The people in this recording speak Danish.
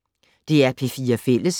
DR P4 Fælles